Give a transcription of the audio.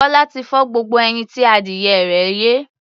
Bọ́lá ti fọ́ gbogbo ẹyin tí adìyẹ rẹ̀ yé.